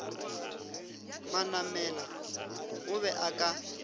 manamela o be a ka